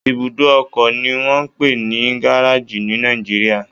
Ibùdó ọkọ ni wọ́n ń pè ní gáréèjì ní Nàìjíríà